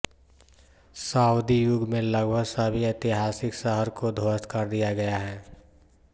Saudi युग में लगभग सभी ऐतिहासिक शहर को ध्वस्त कर दिया गया है